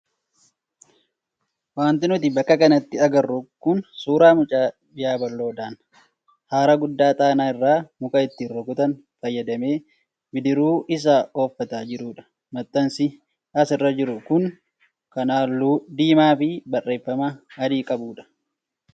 Wanti nuti bakka kanatti agarru kun suuraa mucaa yabaloodhaan hara guddaa xaanaa irra muka ittiin rukutan fayyadamee bidiruu isaa ooffataa jirudha. Maxxansi asirra jiru kun kan halluu diimaa fi barreeffama adii qabudha.